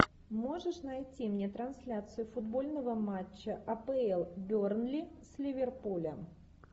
можешь найти мне трансляцию футбольного матча апл бернли с ливерпулем